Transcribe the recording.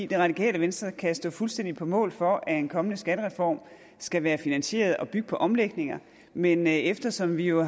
det radikale venstre kan fuldstændig stå på mål for at en kommende skattereform skal være finansieret og bygge på omlægninger men eftersom vi jo